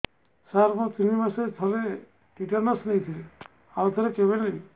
ସାର ମୁଁ ତିନି ମାସରେ ଥରେ ଟିଟାନସ ନେଇଥିଲି ଆଉ ଥରେ କେବେ ନେବି